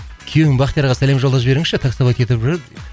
күйеуім бақтиярға сәлем жолдап жіберіңізші таксовать етіп жүр